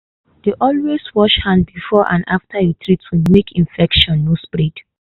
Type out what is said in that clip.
dey always wash hand before and after you treat wound make infection no spread.